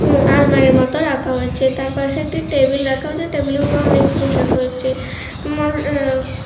এ আলমারির মতো রাখা হয়েছে তার পাশে একটি টেবিল রাখা হয়েছে টেবিলের উপরে অনেক জিনিস রাখা হয়েছে মর এ--